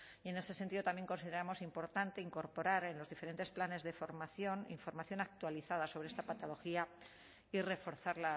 y en ese sentido también consideramos importante incorporar en los diferentes planes de formación información actualizada sobre esta patología y reforzar